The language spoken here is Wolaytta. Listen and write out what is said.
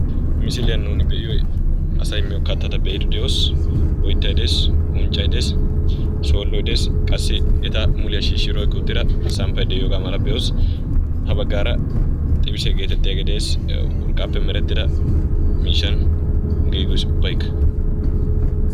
Misiliyan nuuni be"iyoyi asayi miyo kattata be"iiddi de"os. Oyttayi des unccayi des shoolloyi des qassi eta muliya shiishshidi oyqqi uttida samppayi diyoogaa mala be"os. Ha baggaara xibisiya geetettiyagee de"es yawu urqqaappe merettida miishshan giigis ubbaykka.